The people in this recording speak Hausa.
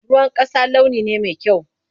Ruwan ƙasa launi ne mai kyau.